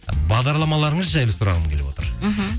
бағдарламаларыңыз жайлы сұрағым келіп отыр мхм